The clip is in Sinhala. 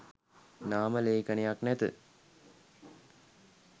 නාම ලේඛනයක් නැත.